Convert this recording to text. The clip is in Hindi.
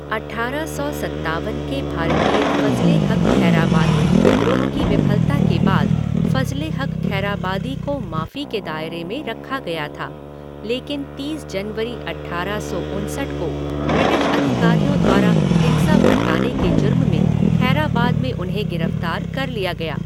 अट्ठारह सौ सत्तावन के भारतीय फजले हक़ खैराबादी विद्रोह की विफलता के बाद फजले हक़ खैराबादी को माफी के दायरे में रखा गया था, लेकिन तीस जनवरी अट्ठारह सौ उनसठ को ब्रिटिश अधिकारियों द्वारा हिंसा भड़काने के जुर्म में खैराबाद में उन्हें गिरफ़्तार कर लिया गया।